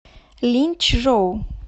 линьчжоу